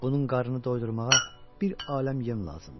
Bunun qarnını doydurmağa bir aləm yem lazımdır.